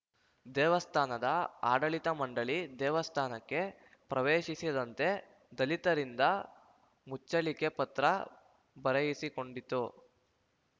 ದೇವಸ್ಥಾನದ ಆಡಳಿತ ಮಂಡಳಿ ದೇವಸ್ಥಾನಕ್ಕೆ ಪ್ರವೇಶಿಸದಂತೆ ದಲಿತರಿಂದ ಮುಚ್ಚಳಿಕೆ ಪತ್ರ ಬರೆಯಿಸಿಕೊಂಡಿತ್ತು